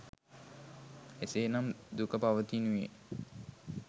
එසේ නම් දුක පවතිනුයේ